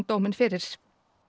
dóminn fyrir